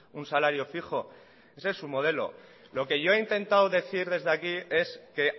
un salario fijo ese es su modelo lo que yo he intentado decir desde aquí es que